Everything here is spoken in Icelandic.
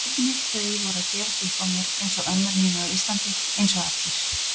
Einnig þau voru að gefast upp á mér einsog ömmur mínar á Íslandi, einsog allir.